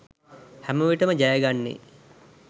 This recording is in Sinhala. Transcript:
හැමවිටම ජයගන්නේ